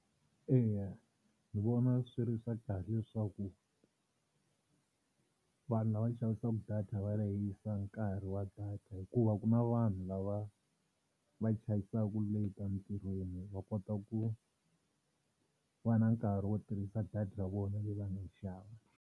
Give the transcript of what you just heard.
Eya ni vona swi ri swa kahle leswaku vanhu lava xavisaka data va lehisa nkarhi wa data hikuva ku na vanhu lava va chayisaka late emintirhweni va kota ku va na nkarhi wo tirhisa data ya vona leyi va nga yi xava.